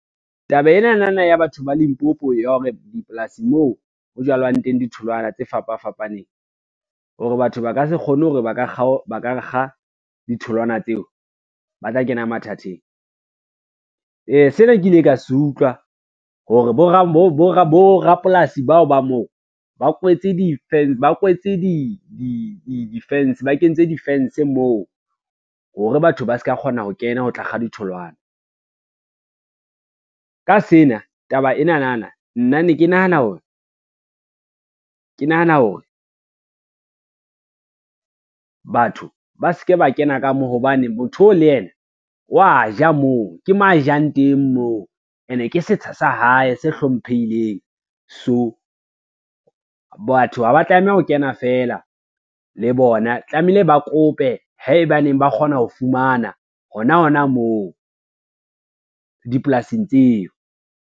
Taba enana ya batho ba Limpopo ya hore dipolasing moo ho jalwang teng ditholwana tse fapa fapaneng, hore batho ba ka se kgone hore ba ka kga ditholwana tseo ba tla kena mathateng. Sena ke ile ka se utlwa hore borapolasi bao ba moo ba kentse defence moo, hore batho ba ska kgona ho kena ho tla kga ditholwana. Ka sena, taba enana nna ne ke nahana hore, batho ba se ke ba kena ka mo hobane motho oo le yena wa ja moo, ke mo a jang teng moo, ene ke setsha sa hae se hlomphehileng. So batho ha ba tlameha ho kena feela le bona tlamehile ba kope haebaneng ba kgona ho fumana hona hona moo dipolasing tseo.